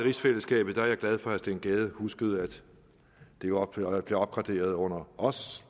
rigsfællesskabet er jeg glad for at herre steen gade huskede at det jo blev opgraderet under os